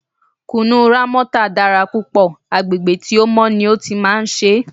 Kùnú Rámọ́tà dára púpọ̀, agbègbè tí ó mọ́ ni ó ti máa ń ṣe é.